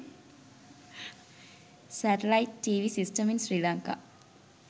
satalite tv system in sri lanka